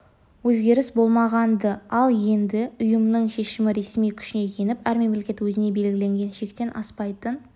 өзгеріс болмаған-ды ал енді ұйымның шешімі ресми күшіне еніп әр мемлекет өзіне белгіленген шектен аспайтын